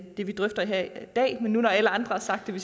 det vi drøfter her i dag men nu hvor alle andre har sagt det